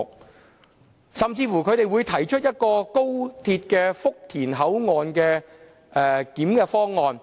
他們甚至提出高鐵福田口岸"一地兩檢"的方案。